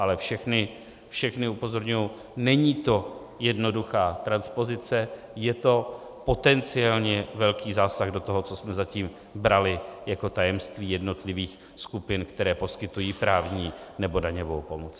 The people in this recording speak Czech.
Ale všechny, všechny upozorňuji, není to jednoduchá transpozice, je to potenciálně velký zásah do toho, co jsme zatím brali jako tajemství jednotlivých skupin, které poskytují právní nebo daňovou pomoc.